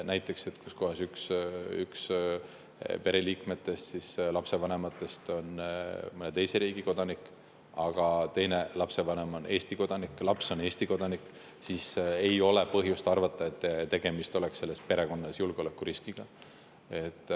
Näiteks kui üks lapsevanematest on mõne teise riigi kodanik, aga teine lapsevanem on Eesti kodanik ja laps on Eesti kodanik, siis ei ole põhjust arvata, et selle perekonna näol on tegemist julgeolekuriskiga.